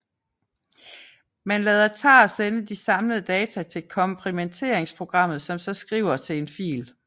Man lader tar sende de samlede data til komprimeringsprogrammet som så skriver til en fil